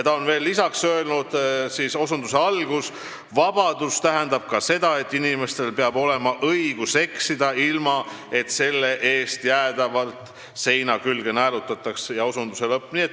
Ta on veel lisaks öelnud, et vabadus tähendab ka seda, et inimestel peab olema õigus eksida, ilma et selle eest jäädavalt seina külge naelutataks.